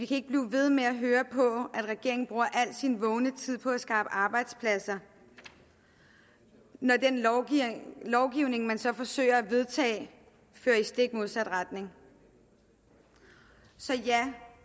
kan blive ved med at høre på at regeringen bruger al sin vågne tid på at skaffe arbejdspladser når den lovgivning man så forsøger at få vedtaget fører i stik modsatte retning så ja